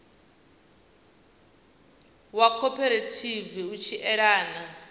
wa khophorethivi u tshi elana